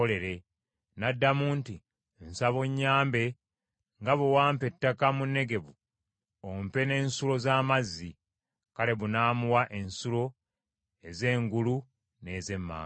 N’addamu nti, “Nsaba onnyambe nga bwe wampa ettaka mu Negebu, ompe n’ensulo z’amazzi.” Kalebu n’amuwa ensulo ez’engulu n’ez’emmanga.